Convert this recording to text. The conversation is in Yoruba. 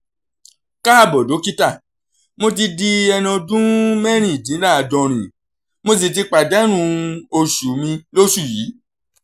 káàbọ̀ dókítà mo ti di ẹni ọdún mẹ́rìndínláàádọ́rin mo sì ti pàdánù oṣù mi lóṣù yìí